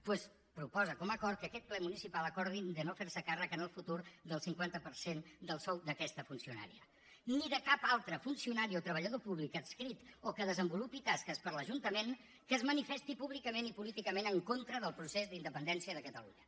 doncs proposa com a acord que aquest ple municipal acordi de no fer se càrrec en el futur del cinquanta per cent del sou d’aquesta funcionària ni de cap altre funcionari o treballador públic adscrit o que desenvolupi tasques per a l’ajuntament que es manifesti públicament i políticament en contra del procés d’independència de catalunya